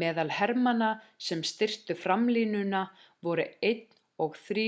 meðal hermanna sem styrktu framlínuna voru 1. og 3.